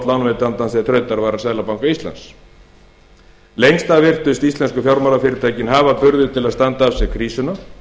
lánveitandans til þrautavara seðlabanka íslands lengst af virtust íslensku fjármálafyrirtækin hafa burði til að standa af sér krísuna